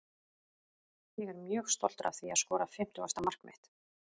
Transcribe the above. Ég er mjög stoltur að því að skora fimmtugasta mark mitt.